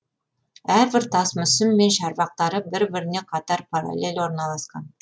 әрбір тас мүсін мен шарбақтары бірі біріне қатар паралель орналасқан